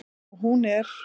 Og hún er.